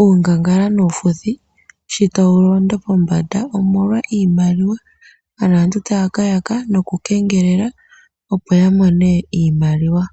Uungangala nuufuthi shi tawu londo pombanda omolwa iimaliwa. Aantu taya ka yaka nokukengelela opo ya mone iimaliwa.